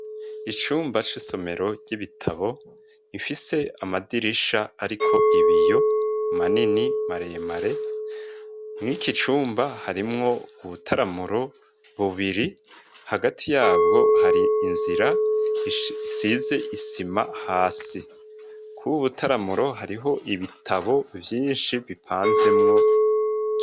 Icumba c'isomero ry'ibitabo rifise amadirisha ariko ibiyo manini, maremare mwiki cumba harimwo ubutaramuro bubiri hagati yabwo hari inzira isize isima hasi, kubu butaramuro hariho ibitabo vyinshi bipanzemwo.